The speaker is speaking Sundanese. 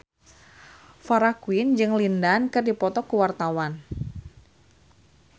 Farah Quinn jeung Lin Dan keur dipoto ku wartawan